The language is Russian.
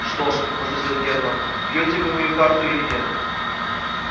что ж возразил германн бьёте вы мою карту или нет